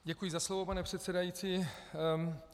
Děkuji za slovo, pane předsedající.